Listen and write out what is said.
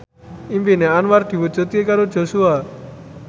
impine Anwar diwujudke karo Joshua